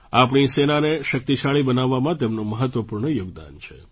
આપણી સેનાને શક્તિશાળી બનાવવામાં તેમનું મહત્ત્વપૂર્ણ યોગદાન છે